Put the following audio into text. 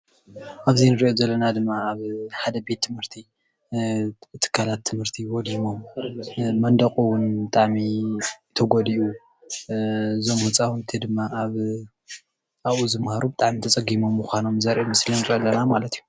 ኣብዚ ንሪኦ ዘለና ድማ ኣብ ሓደ ቤት ትምህርቲ ን ትካላት ትምህርቲ ወዲሞም መንደቑ ውን ብጣዕሚ ተጎዲኡ እዞም ህፃውንቲ ድማ ኣብኡ ዝማሃሩ ብጣዕሚ ተፀጊሞም ምዃኖም ዘርኢ ምስሊ ንሪኢ ኣለና ማለት እዩ፡፡